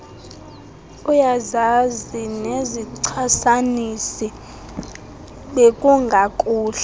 uyazazi nezichasanisi bekungakuhle